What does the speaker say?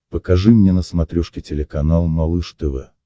покажи мне на смотрешке телеканал малыш тв